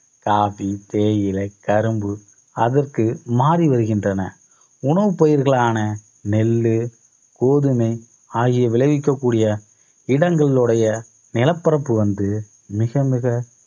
Coffee தேயிலை கரும்பு அதற்கு மாறி வருகின்றன. உணவுப் பயிர்களான நெல்லு, கோதுமை ஆகிய விளைவிக்கக் கூடிய இடங்களுடைய நிலப்பரப்பு வந்து மிக மிக